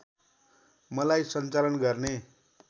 मलाई सञ्चालन गर्ने